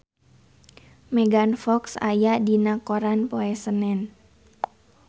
Megan Fox aya dina koran poe Senen